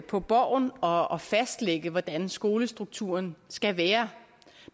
på borgen og og fastlægge hvordan skolestrukturen skal være